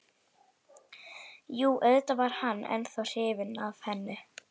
Jú, auðvitað var hann ennþá hrifinn af henni.